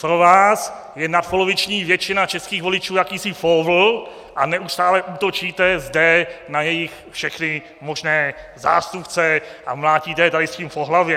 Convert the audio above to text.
Pro vás je nadpoloviční většina českých voličů jakýsi póvl a neustále útočíte zde na jejich všechny možné zástupce a mlátíte je tady s tím po hlavě.